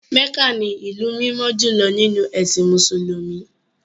Mecca ni ìlú mímọ́ jùlọ nínú ẹ̀sìn Mùsùlùmí.